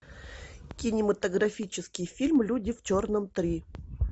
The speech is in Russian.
кинематографический фильм люди в черном три